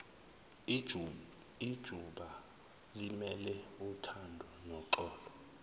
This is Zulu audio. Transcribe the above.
ijubalimele uthando noxolo